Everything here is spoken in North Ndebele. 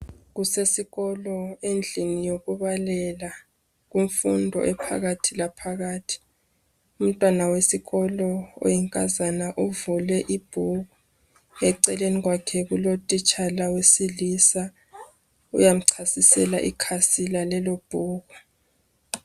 Kusesikolo endlini yokubalela, kumfundo ephakathi laphakathi. Umntwana wesikolo, oyinkazana uvule ibhuku. Eceleni kwakhe Utitshala wakhe wedilisa. Uyamchasisela okuphakathi kwalelobhuku.